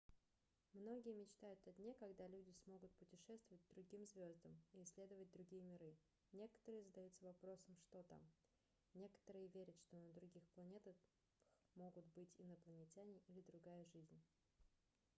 многие мечтают о дне когда люди смогут путешествовать к другим звездам и исследовать другие миры некоторые задаются вопросом что там некоторые верят что на других планетах могут быть инопланетяне или другая жизнь